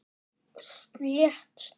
Slétt staðið.